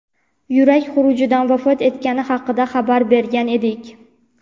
yurak xurujidan vafot etgani haqida xabar bergan edik.